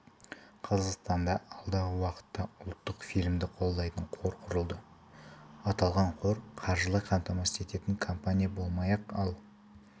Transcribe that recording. қазақстанда алдағы уақытта ұлттық фильмді қолдайтын қор құрылады аталған қор қаржылай қамтамасыз ететін компания болмақ ал